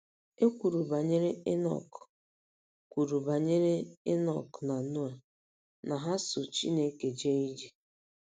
E kwuru banyere Inọk kwuru banyere Inọk na Noa na ha ‘so Chineke jee ije. '